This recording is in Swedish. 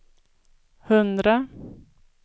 hundra